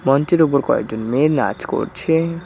মঞ্চের উপর কয়েকটি মেয়ে নাচ করছে।